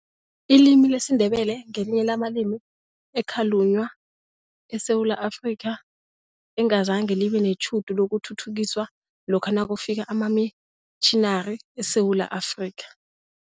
Ilimi lesiNdebele ngelinye lamalimi ekhalunywa eSewula Afrika, engazange libe netjhudu lokuthuthukiswa lokha nakufika amamitjhinari eSewula Afrika.